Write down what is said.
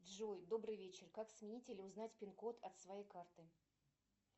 джой добрый вечер как сменить или узнать пин код от своей карты